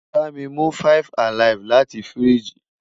bami mu mi 5 alive lati firiji